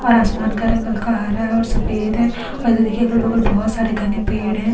और आसमान का रंग हल्का हरा है और सफेद है और इधर देखिए अगल-बगल बहुत सारे गने पेड़ है।